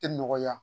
Tɛ nɔgɔya